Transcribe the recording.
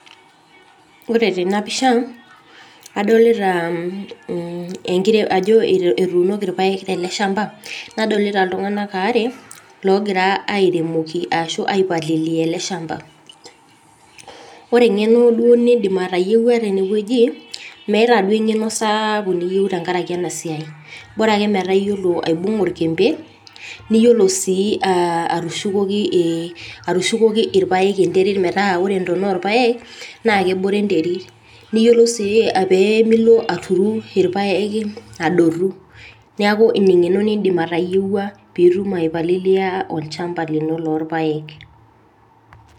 Ore tena pisha adolita ajo etuunoki irpaek tele shamba, nadolita iltungana aare lookira airemoki arashu ai palilia ele shamba ore eng'eno nidim atayieua tene wueji, meetaa duoo eng'eno sapuk niyieu tenkaraki ena siaai Bora ake meetaa iyiolo aibunga orkembe, niyiolo sii atushukoki irpaek enterit metaa ore ntona irpaek naa kebore enterit niyiolou sii piimilo aturru irpaek adotu, neeku ina eng'eno nidim atayieua pitum ai palilia olshamba lino loorrpaek.